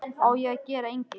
Á ég að gera engil?